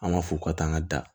An b'a fɔ ka taa an ka da